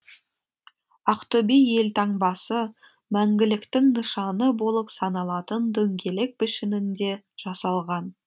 ақтөбе елтаңбасы мәңгіліктің нышаны болып саналатын дөңгелек пішінінде жасалған